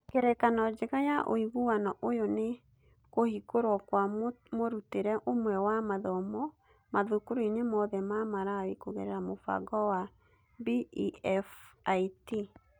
Ngerekano njega ya ũiguano ũyũ nĩ kũhingũrwo kwa mũrutĩre ũmwe wa mathomo mathukuruinĩ mothe ma Malawi kũgerera mũbango wa BEFIT.